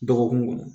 Dɔgɔkun kɔnɔ